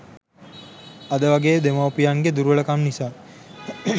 අද වගේ දෙමවුපියන්ගෙ දුර්වල කම් නිසා